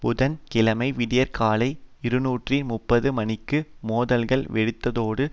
புதன் கிழமை விடியற்காலை இருநூற்றி முப்பது மணிக்கு மோதல்கள் வெடித்ததோடு